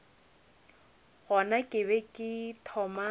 gona ke be ke thoma